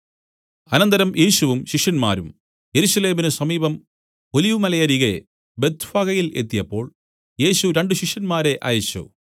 അനന്തരം യേശുവും ശിഷ്യന്മാരും യെരൂശലേമിനു സമീപം ഒലിവുമലയരികെ ബേത്ത്ഫഗയിൽ എത്തിയപ്പോൾ യേശു രണ്ടു ശിഷ്യന്മാരെ അയച്ചു